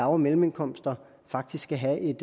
og mellemindkomster faktisk skal have et